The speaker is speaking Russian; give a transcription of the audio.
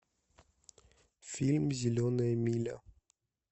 фильм зеленая миля